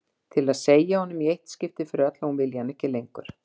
Til að segja honum í eitt skipti fyrir öll að hún vilji hann ekki lengur.